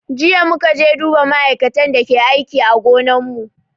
Jiya muka je duba ma'aikatan da ke aiki a gonan mu